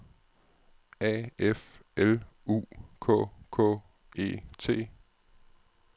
A F L U K K E T